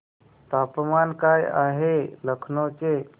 तापमान काय आहे लखनौ चे